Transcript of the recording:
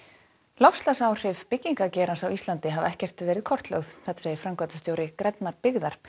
loftslagsáhrif byggingageirans á Íslandi hafa nær ekkert verið kortlögð segir framkvæmdastjóri grænnar byggðar